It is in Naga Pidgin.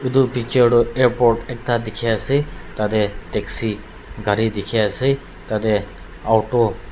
etu picture tu airport ekta dikhi ase tah teh taxi gari dikhi ase tah teh auto --